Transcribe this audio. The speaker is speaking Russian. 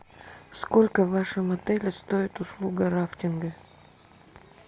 сколько в вашем отеле стоит услуга рафтинга